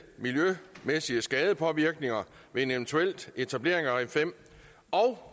miljømæssige skadepåvirkninger ved en eventuel etablering af en ring fem og